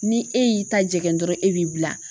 Ni e y'i ta jɛngɛ dɔrɔn e b'i bila.